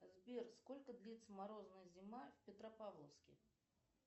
сбер сколько длится морозная зима в петропавловске